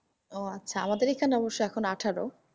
ও আচ্ছা আমাদের এখানে অবশ্য এখন আঠারো।